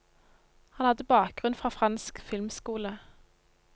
Han hadde bakgrunn fra fransk filmskole.